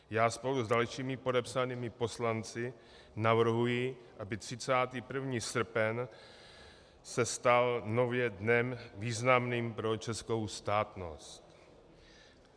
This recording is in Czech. Já spolu s dalšími podepsanými poslanci navrhuji, aby 31. srpen se stal nově dnem významným pro českou státnost.